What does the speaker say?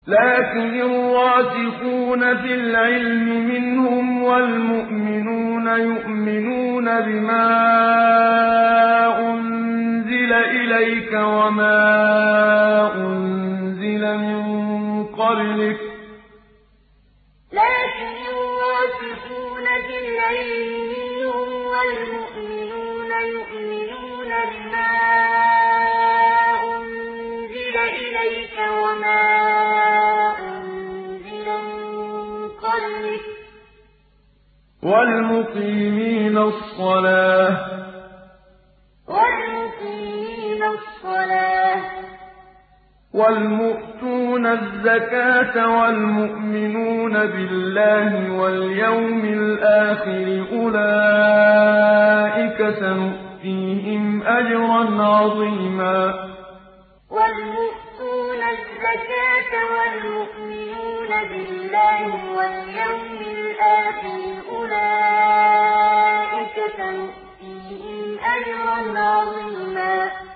لَّٰكِنِ الرَّاسِخُونَ فِي الْعِلْمِ مِنْهُمْ وَالْمُؤْمِنُونَ يُؤْمِنُونَ بِمَا أُنزِلَ إِلَيْكَ وَمَا أُنزِلَ مِن قَبْلِكَ ۚ وَالْمُقِيمِينَ الصَّلَاةَ ۚ وَالْمُؤْتُونَ الزَّكَاةَ وَالْمُؤْمِنُونَ بِاللَّهِ وَالْيَوْمِ الْآخِرِ أُولَٰئِكَ سَنُؤْتِيهِمْ أَجْرًا عَظِيمًا لَّٰكِنِ الرَّاسِخُونَ فِي الْعِلْمِ مِنْهُمْ وَالْمُؤْمِنُونَ يُؤْمِنُونَ بِمَا أُنزِلَ إِلَيْكَ وَمَا أُنزِلَ مِن قَبْلِكَ ۚ وَالْمُقِيمِينَ الصَّلَاةَ ۚ وَالْمُؤْتُونَ الزَّكَاةَ وَالْمُؤْمِنُونَ بِاللَّهِ وَالْيَوْمِ الْآخِرِ أُولَٰئِكَ سَنُؤْتِيهِمْ أَجْرًا عَظِيمًا